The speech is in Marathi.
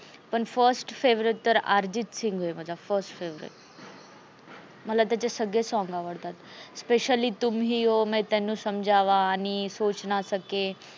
पन first favorite अर्जित सिंग मला first favorite मला सगळे आवडतात specially तुम ही हो, समजावा की आणि सोच ना सके